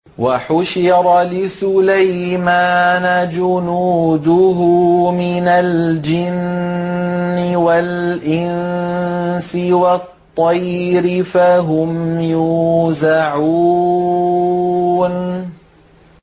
وَحُشِرَ لِسُلَيْمَانَ جُنُودُهُ مِنَ الْجِنِّ وَالْإِنسِ وَالطَّيْرِ فَهُمْ يُوزَعُونَ